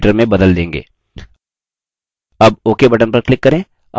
अब ok button पर click करें